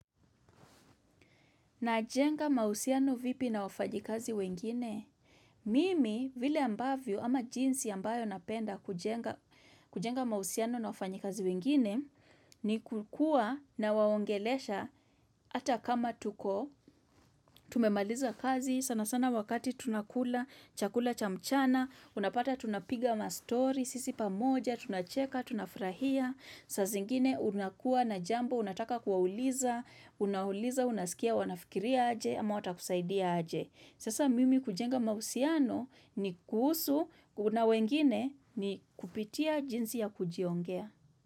Najenga mahusiano vipi na wafanyikazi wengine? Mimi, vile ambavyo, ama jinsi ambayo napenda kujenga mahusiano na wafanyikazi wengine, ni kukua nawaongelesha hata kama tuko. Tumemaliza kazi, sana sana wakati tunakula, chakula cha mchana, unapata tunapiga ma story, sisi pamoja, tunacheka, tunafurahia, saa zingine unakuwa na jambo, unataka kuwauliza, Unauliza, unasikia, wanafikiria aje ama watakusaidia aje Sasa mimi kujenga mahusiano ni kuhusu kuna wengine ni kupitia jinsi ya kujiongea.